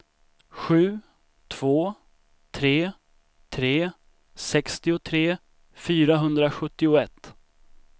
sju två tre tre sextiotre fyrahundrasjuttioett